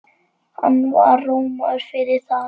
Hann var rómaður fyrir það.